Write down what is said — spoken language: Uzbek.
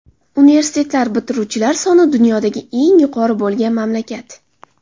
Universitetlar bitiruvchilar soni dunyodagi eng yuqori bo‘lgan mamlakat.